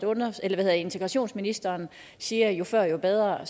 integrationsministeren siger jo før jo bedre